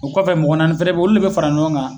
U kɔfɛ mgɔ naani fana beyi olu de bɛ fara ɲɔgɔn kan.